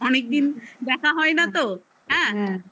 অনেক দিন দেখা হয় না তো হ্যা